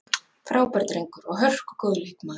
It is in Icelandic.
Frábær drengur og hörku góður leikmaður.